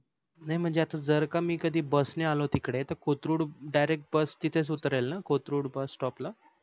नाही म्हणजे आता जर का मी कधी बस नि आलो तिकडे तर कोथरूड direct बस तिथेच उतरेल न कोथरूड bus stop ला